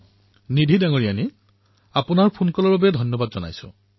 নিধি মহোদয়া আপোনাৰ ফোন কলৰ বাবে বহুত বহুত ধন্যবাদ